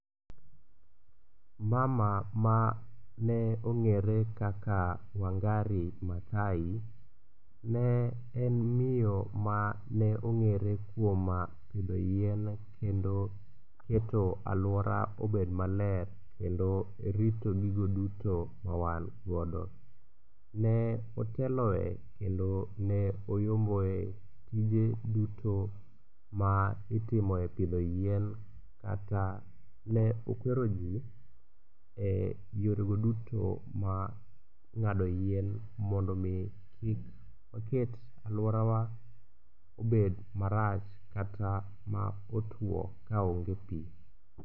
Mama mane ong'ere kaka Wangare Mathai ne en miyo ma ne ong'ere kuom pidho yien kendo keto aluora obed maler kendo rito gigo duto ma wan godo. Ne oteloe kendo ne oyomboe tije duto ma itimoe pidho yien kata ne okwero ji e yorego duto mar ng'ado yien mondo mi kik oket aluorawa obed marach kata ma otuo kaonge pi.